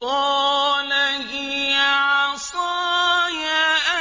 قَالَ هِيَ عَصَايَ